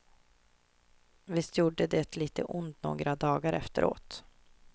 Visst gjorde det lite ont några dar efteråt.